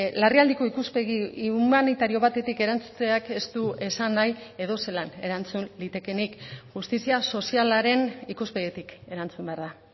larrialdiko ikuspegi humanitario batetik erantzuteak ez du esan nahi edozelan erantzun litekeenik justizia sozialaren ikuspegitik erantzun behar da